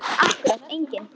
Akkúrat enginn.